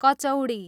kachori